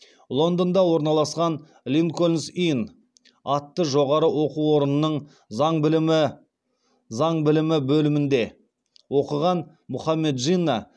лондонда орналасқан линкольнс инн атты жоғарғы оқу орнының заң білімі бөлімінде оқыған мұхаммед джинна